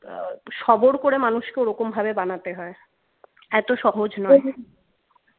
সবর করে মানুষকে ওরকমভাবে বানাতে হয় এতো সহজ নয়